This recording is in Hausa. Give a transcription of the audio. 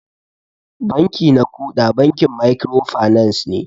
Banki na kuda bankin microfinance ne.